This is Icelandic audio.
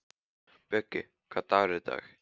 Bjöggi, hvaða dagur er í dag?